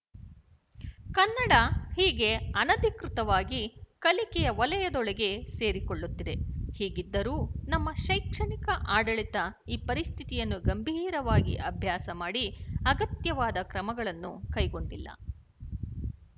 ಕನ್ನಡ ಹೀಗೆ ಅನಧಿಕೃತವಾಗಿ ಕಲಿಕೆಯ ವಲಯದೊಳಗೆ ಸೇರಿಕೊಳ್ಳುತ್ತಿದೆ ಹೀಗಿದ್ದರೂ ನಮ್ಮ ಶೈಕ್ಷಣಿಕ ಆಡಳಿತ ಈ ಪರಿಸ್ಥಿತಿಯನ್ನು ಗಂಭೀರವಾಗಿ ಅಭ್ಯಾಸ ಮಾಡಿ ಅಗತ್ಯವಾದ ಕ್ರಮಗಳನ್ನು ಕೈಗೊಂಡಿಲ್ಲ